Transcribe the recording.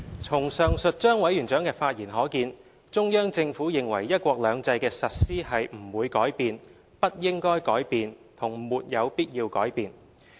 "從上述張委員長的發言可見，中央政府認為"一國兩制"的實施是不會改變、不應該改變和沒有必要改變的。